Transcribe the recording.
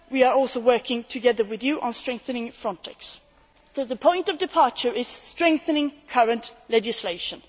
We are also working together with you on strengthening Frontex. The point of departure is strengthening current legislation.